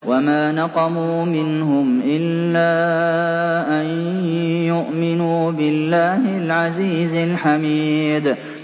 وَمَا نَقَمُوا مِنْهُمْ إِلَّا أَن يُؤْمِنُوا بِاللَّهِ الْعَزِيزِ الْحَمِيدِ